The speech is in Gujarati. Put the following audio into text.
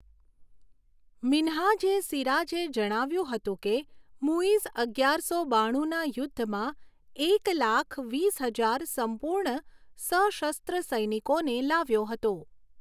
મિન્હાજ એ સિરાજે જણાવ્યુંં હતું કે મુઇઝ અગિયારસો બાણુંના યુદ્ધમાં એક લાખ વીસ હજાર સંપૂર્ણ સશસ્ત્ર સૈનિકોને લાવ્યો હતો.